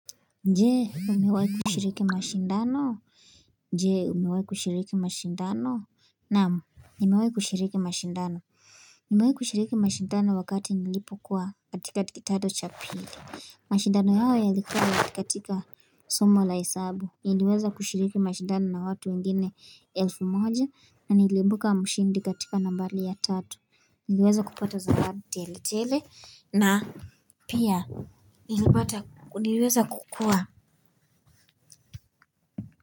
Je umewai kushiriki mashindano je umewai kushiriki mashindano Naamu nimewai kushiriki mashindano Nimewai kushiriki mashindano wakati nilipo kuwa katika kidato cha pili mashindano hayo yalikuwa katika Somo la hesabu niliweza kushiriki mashindano na watu wengine elfu moja na niliimbuka mshindi katika nambari ya tatu Niliweza kupata zawadi tele tele na Pia, nilipata, nilweza kukua.